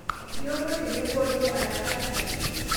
Iyomon tebo oyio anakatai